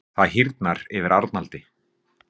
Það hýrnar yfir Arnaldi.